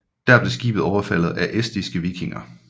Der blev skibet overfaldet af estiske vikinger